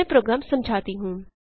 मैं प्रोग्राम समझाती हूँ